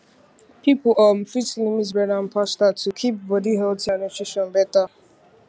people um fit limit bread and pasta to keep body healthy and nutrition better